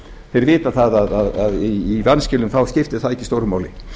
þeir vita það að í vanskilum skiptir það ekki stóru máli